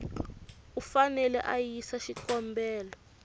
u fanele a yisa xikombelo